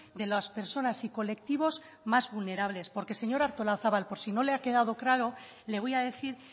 de las personas y colectivos más vulnerables porque señora artolozabal por si no le ha quedado claro le voy a decir